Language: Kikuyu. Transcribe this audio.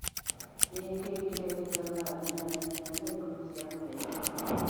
Nĩ kĩĩ kĩrekĩka thaa inyanya nginya thaa ikũmi cia mũthenya ũyũ?